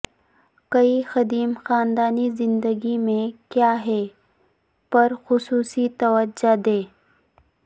کئی قدیم خاندانی زندگی میں کیا ہے پر خصوصی توجہ دیں